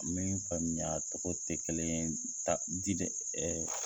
Ni n y'i faamuya a tɛ kelen ye